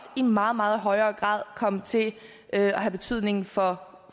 i meget meget højere grad komme til at have betydning for